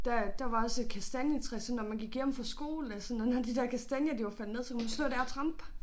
Der der var også et kastanjetræ så når man gik hjem fra skole og sådan og når når de der kastanjer de var faldet ned så kunne man stå dér og trampe